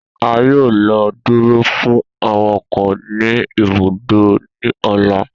A yoo lọ duro fun awakọ ni ibùdókò ni ọla.